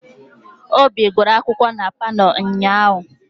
Obi guru akwụkwọ na palọ ụnyahụ.